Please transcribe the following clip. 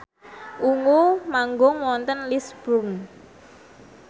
Ungu manggung wonten Lisburn